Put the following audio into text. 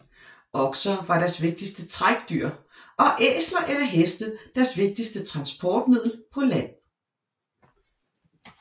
Okser var deres vigtigste trækdyr og æsler eller heste deres vigtigste transportmiddel på land